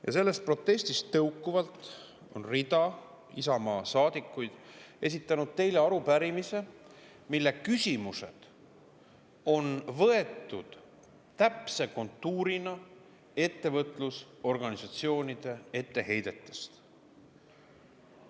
Ja sellest protestist tõukuvalt on rida Isamaa saadikuid esitanud teile arupärimise, mille küsimused on võetud täpse kontuurina ettevõtlusorganisatsioonide etteheidetest.